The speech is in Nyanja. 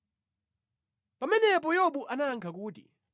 Pamenepo Yobu anayankha kuti,